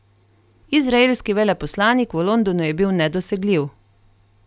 Izraelski veleposlanik v Londonu je bil nedosegljiv.